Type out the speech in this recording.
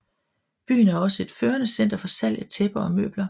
Byen er også et førende center for salg af tæpper og møbler